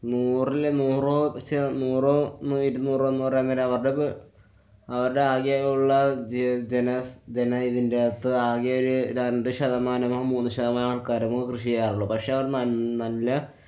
നൂറില് നൂറോ? ചെ~ നൂറോ ഇരുന്നൂറോ എന്നുപറയാന്‍ നേരം അവര്‍ടെ പ്~ അവര്‍ടെ ആകെയുള്ള ജെ~ജെന~ ജെന ഇതിന്‍ടെ അകത്ത് ആകെയൊരു രണ്ടു ശതാമാനമൊ മൂന്നു ശതമാനമോ ആള്‍ക്കാരെ കൃഷിചെയ്യാറുള്ളൂ. പക്ഷെ അവര്‍ ന~ നല്ല